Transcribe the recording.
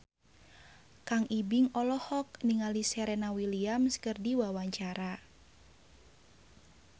Kang Ibing olohok ningali Serena Williams keur diwawancara